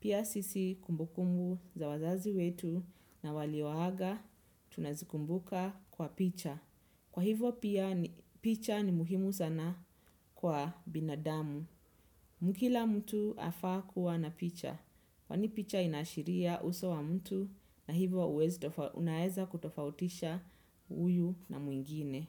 Pia sisi kumbukumbu za wazazi wetu na walio aga tunazikumbuka kwa picha. Kwa hivyo pia picha ni muhimu sana kwa binadamu. Kila mtu afaa kuwa na picha. Kwani picha inaashiria uso wa mtu na hivyo unaweza kutofautisha huyu na mwingine.